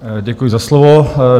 Děkuji za slovo.